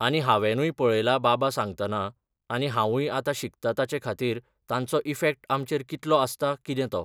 आनी हांवेंनूय पळयलां बाबा सांगतना आनी हांवूय आतां शिकतां ताचे खातीर तांचो इफेक्ट आमचेर कितलो आसता कितें तो.